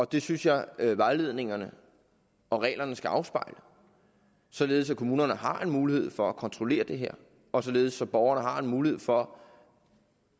det synes jeg at vejledningerne og reglerne skal afspejle således at kommunerne har en mulighed for at kontrollere det her og således at borgerne har en mulighed for